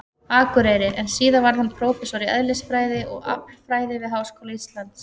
Akureyri, en síðar varð hann prófessor í eðlisfræði og aflfræði við Háskóla Íslands.